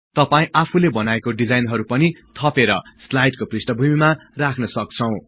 तपाई आफुले बनाएको डिजाइनहरु पनि थपेर स्लाईडको पृष्ठबभुमिमा राख्न सक्छौं